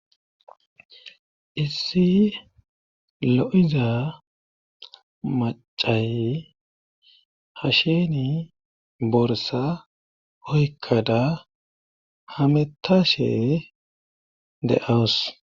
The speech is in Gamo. issi lo7iza macay hasheni borsa oykkada hametashe de7awus